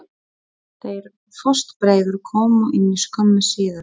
Þeir fóstbræður komu inn skömmu síðar.